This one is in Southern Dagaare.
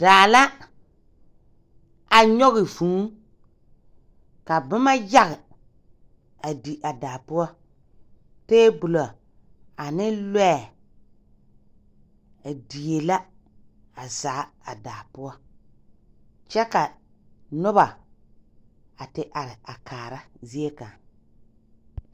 Daa la a nyɔge vŭŭ, ka boma yage a di a daa poɔ. Teebolɔ ane lɔɛ a die la a zaa a daa poɔ kyɛ ka noba a te are a kaara zie kaŋ.